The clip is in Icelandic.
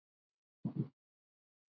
En er það á dagskrá?